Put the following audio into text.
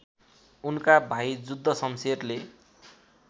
उनका भाइ जुद्धशमशेरले